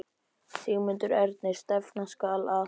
Sigmundur Ernir: Stefna skal að?